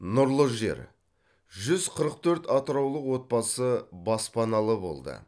нұрлы жер жүз қырық төрт атыраулық отбасы баспаналы болды